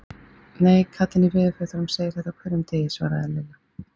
Nei, kallinn í veðurfréttunum segir þetta á hverjum degi svaraði Lilla.